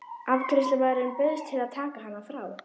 Afgreiðslumaðurinn bauðst til að taka hana frá.